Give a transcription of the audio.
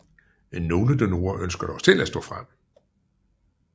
Nogle donorer ønsker dog selv at stå frem